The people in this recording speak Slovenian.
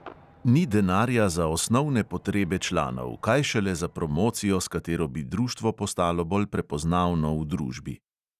Ni denarja za osnovne potrebe članov, kaj šele za promocijo, s katero bi društvo postalo bolj prepoznavno v družbi.